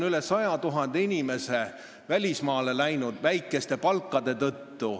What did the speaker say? Üle 100 000 inimese on väikese palga tõttu välismaale läinud.